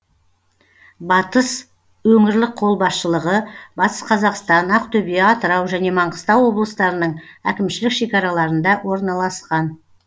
батыс өңірлік қолбасшылығы батыс қазақстан ақтөбе атырау және маңғыстау облыстарының әкімшілік шекараларында орналасқан